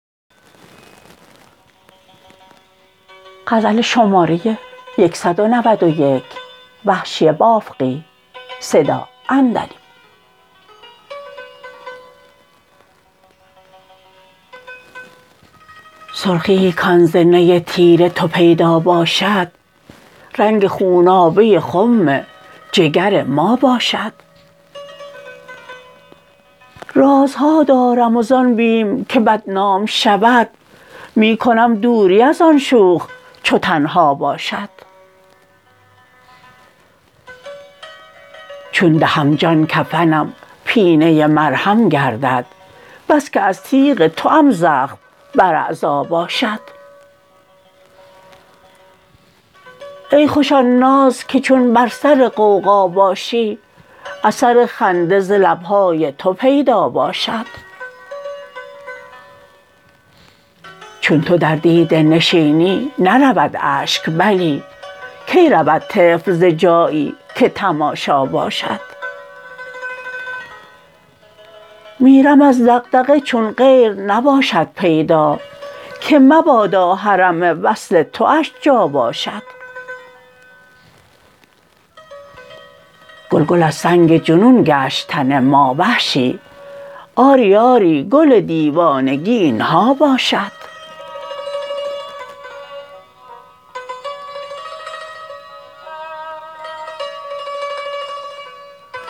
سرخی ای کان ز نی تیر تو پیدا باشد رنگ خونابه خم جگر ما باشد رازها دارم و زان بیم که بدنام شود می کنم دوری از آن شوخ چو تنها باشد چون دهم جان کفنم پینه مرهم گردد بسکه از تیغ توام زخم بر اعضا باشد ای خوش آن ناز که چون بر سر غوغا باشی اثر خنده ز لب های تو پیدا باشد چون تو در دیده نشینی نرود اشک بلی کی رود طفل زجایی که تماشا باشد میرم از دغدغه چون غیر نباشد پیدا که مبادا حرم وصل تواش جا باشد گل گل از سنگ جنون گشت تن ما وحشی آری آری گل دیوانگی اینها باشد